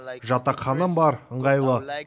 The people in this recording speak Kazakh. жатақханам бар ыңғайлы